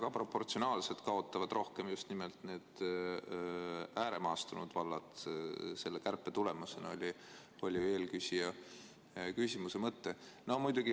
Aga proportsionaalselt kaotavad selle kärpe tõttu rohkem just nimelt need ääremaastunud vallad – see oli eelküsija küsimuse mõte.